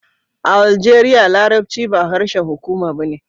A Aljeriya, Larabci ba harshen hukuma ba ne